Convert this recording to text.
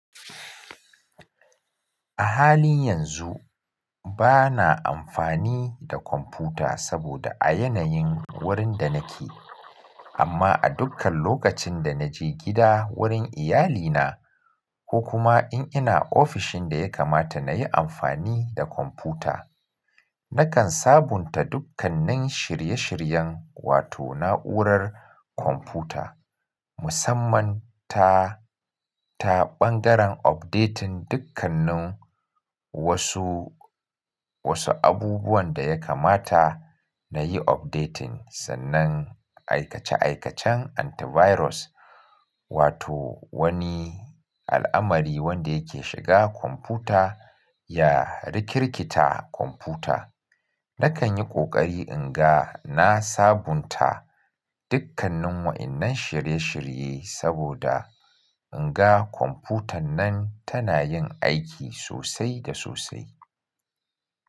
A halin yanzu bana amfani da kwamfuta saboda a yanayin wurin da nake. Amma a dukkan lokacin da naje gida wurin iyalina ko kuma in ina ofishin da ya kamata nayi amfani da kwamfuta. Nakan sabunta dukkannin shirye-shiryen wato na'urar kwamfuta musamman ta, ta ɓangaren updating dukkannin wasu, wasu abubuwan da ya kamata nayi updating sannan aikace-aikacen antivirus wato wani al'amari wanda yake shiga kwamfuta ya rikirkita kwamfuta. Nakan yi ƙoƙari in ga na sabunta dukkannin waɗannan shirye-shirye saboda in ga kwamfutan nan tana yin aiki sosai da sosai.